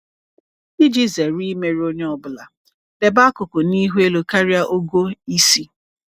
Iji zere imerụ onye ọ bụla, debe akụkụ n’ihu elu karịa ogo isi.